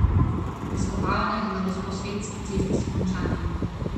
Izkopavanja na Gosposvetski cesti so končana.